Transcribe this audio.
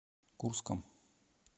курском